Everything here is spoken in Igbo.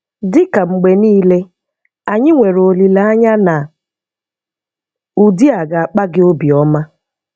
Dị ka mgbe niile, anyị nwere olileanya na ụdị a ga akpa gị obi ọma.